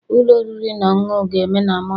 Ụlọ oriri na ọṅụṅụ ga-eme na Monday.